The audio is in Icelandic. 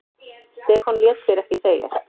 Stefán lét sér ekki segjast.